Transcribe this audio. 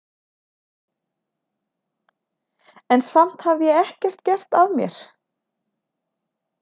En samt hafði ég ekkert gert af mér.